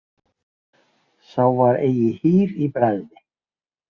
Sá var eigi hýr í bragði.